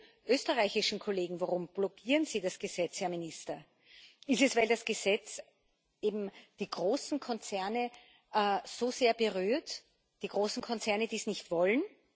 Fragen Sie den österreichischen Kollegen Warum blockieren Sie das Gesetz, Herr Minister? Ist es, weil das Gesetz eben die großen Konzerne so sehr berührt, weil die großen Konzerne dies nicht wollen?